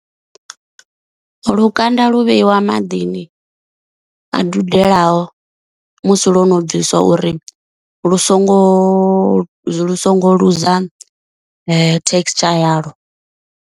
Lukanda lu vheiwa maḓini a dudelaho musi lwo no bvisiwa uri lu songo lu songo luza texture yalwo.